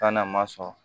Taa n'a ma sɔn